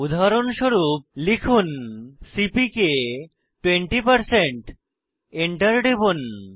উদাহরণস্বরূপ লিখুন সিপিকে 20 Enter টিপুন